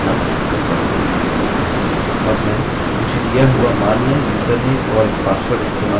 अब मैं मुझे दिया हुआ मान्य यूज़रनेम username और पासवर्ड इस्तेमाल करूँगा